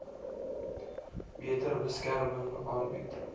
beter beskerming aanbied